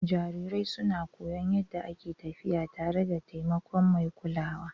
Jarirai suna koyon yadda ake tafiya tare da taimakon mai kulawa.